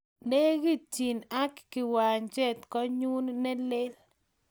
Nekitchin ak kiwanjet konyun ne lel